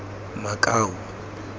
makau